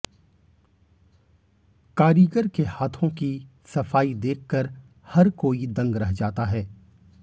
कारीगर के हाथों की सफाई देखकर हर कोई दंग रह जाता है